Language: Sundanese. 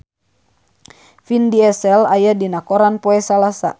Vin Diesel aya dina koran poe Salasa